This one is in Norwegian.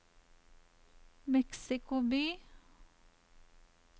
Mexico by